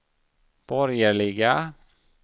borgerliga